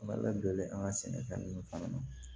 A ka ladonni an ka sɛnɛfɛn ninnu fana na